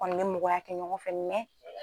Kɔni bɛ mɔgɔya kɛ ɲɔgɔn fɛ mɛ